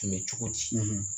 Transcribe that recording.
cogo di